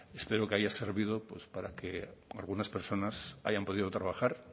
espero que haya servido pues para que algunas personas hayan podido trabajar